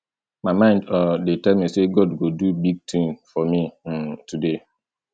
my mind um dey tell me sey god go do big thing for me um today